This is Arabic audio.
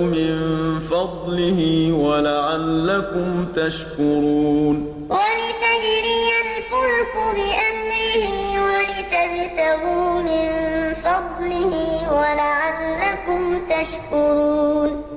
مِن فَضْلِهِ وَلَعَلَّكُمْ تَشْكُرُونَ وَمِنْ آيَاتِهِ أَن يُرْسِلَ الرِّيَاحَ مُبَشِّرَاتٍ وَلِيُذِيقَكُم مِّن رَّحْمَتِهِ وَلِتَجْرِيَ الْفُلْكُ بِأَمْرِهِ وَلِتَبْتَغُوا مِن فَضْلِهِ وَلَعَلَّكُمْ تَشْكُرُونَ